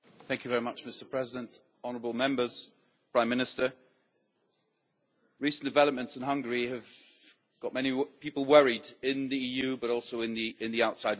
Mr President, honourable Members, Prime Minister, recent developments in Hungary have got many people worried in the EU, but also in the outside world.